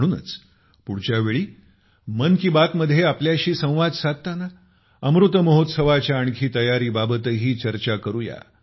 म्हणूनच पुढच्या वेळी मन की बातमध्ये आपल्याशी संवाद साधताना अमृतमहोत्सवाच्या आणखी तयारीबाबतही चर्चा करूया